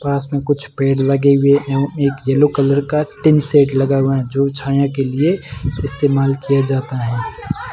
पास में कुछ पेड़ लगे हुए हैं एक येलो कलर का टीन सेट लगा हुआ जो छाया के लिए इस्तेमाल किया जाता है।